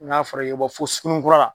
N'a fɔra i bɛ bɔ fɔ sunguninkura la.